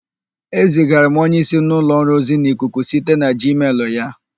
Ezigara m onyeísí m n'ụlọ ọrụ ozi n'ikuku site na jiimel ya.